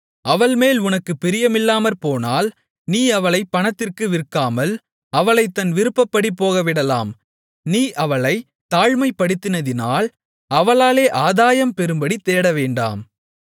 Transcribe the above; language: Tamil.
அவள்மேல் உனக்குப் பிரியமில்லாமற்போனால் நீ அவளைப் பணத்திற்கு விற்காமல் அவளைத் தன் விருப்பப்படி போகவிடலாம் நீ அவளைத் தாழ்மைப்படுத்தினதினால் அவளாலே ஆதாயம் பெறும்படி தேடவேண்டாம்